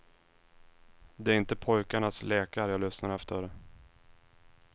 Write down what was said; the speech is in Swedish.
Det är inte pojkarnas lekar jag lyssnar efter.